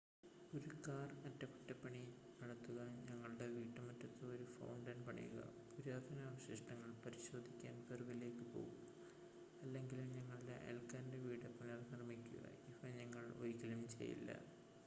ഒരു കാർ അറ്റകുറ്റപണി നടത്തുക ഞങ്ങളുടെ വീട്ടുമുറ്റത്ത് ഒരു ഫൗണ്ടൻ പണിയുക പുരാതന അവശിഷ്ടങ്ങൾ പരിശോധിക്കാൻ പെറുവിലേക്ക് പോകുക അല്ലെങ്കിൽ ഞങ്ങളുടെ അയൽക്കാരൻ്റെ വീട് പുനർനിർമ്മിക്കുക ഇവ ഞങ്ങൾ ഒരിക്കലും ചെയ്യില്ല